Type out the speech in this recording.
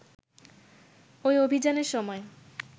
ঐ অভিযানের সময়